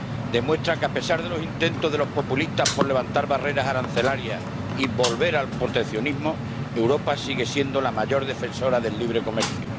demuestra que, a pesar de los intentos de los populistas por levantar barreras arancelarias y volver al proteccionismo, Europa sigue siendo la mayor defensora del libre comercio.